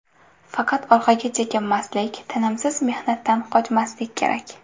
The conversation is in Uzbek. Faqat orqaga chekinmaslik, tinimsiz mehnatdan qochmaslik kerak.